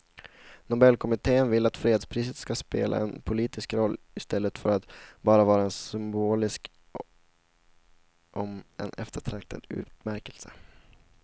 Nobelkommittén vill att fredspriset ska spela en politisk roll i stället för att bara vara en symbolisk om än eftertraktad utmärkelse.